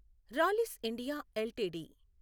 రాలిస్ India LTD